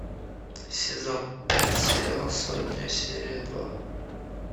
сезон пять сериал сотня серия два